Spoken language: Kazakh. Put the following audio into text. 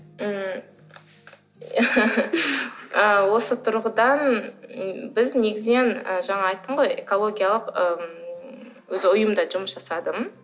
ммм ы осы тұрғыдан біз негізінен ы жаңа айттым ғой экологиялық ммм өзі ұйымда жұмыс жасадым